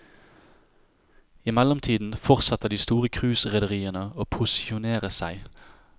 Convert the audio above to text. I mellomtiden fortsetter de store cruiserederiene å posisjonere seg.